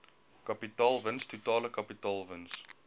kapitaalwins totale kapitaalwins